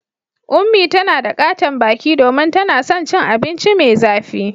Unmie tana da katon baki domin tana son cin abinci mai zafi.